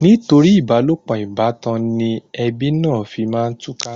Nítorí ìbálòpọ̀ ìbátan ni ẹbí náà fi máa túká.